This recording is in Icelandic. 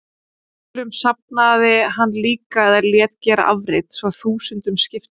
Skjölum safnaði hann líka eða lét gera afrit, svo þúsundum skipti.